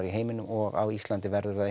í heiminum og á Íslandi verður það